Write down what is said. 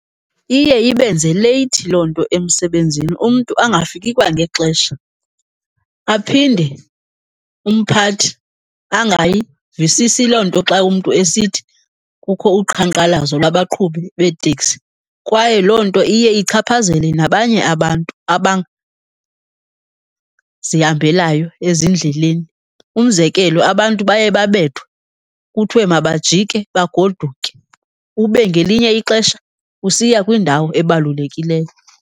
Iye ibenze leyithi loo nto emsebenzini, umntu angafiki kwangexesha. Aphinde umphathi angayivisisi loo nto xa umntu esithi kukho uqhankqalazo lwabaqhubi beeteksi kwaye loo nto iye ichaphazele nabanye abantu ezindleleni. Umzekelo, abantu baye babethwe kuthiwe mabajike bagoduke, ube ngelinye ixesha usiya kwindawo ebalulekileyo.